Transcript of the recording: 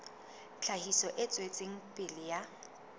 tlhahiso e tswetseng pele ya